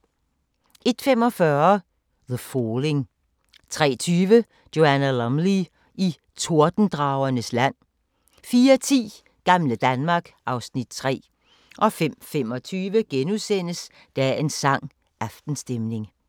01:45: The Falling 03:20: Joanna Lumley i Tordendragernes land 04:10: Gamle Danmark (Afs. 3) 05:25: Dagens sang: Aftenstemning *